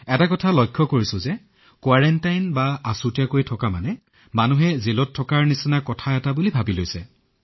এতিয়া বাহিৰলৈ আহি অনুভৱ কৰিছো যে সকলোৱে কোৱাৰেণ্টাইনৰ অৰ্থ কাৰাগাৰলৈ যোৱা বুলি ভাবি আছে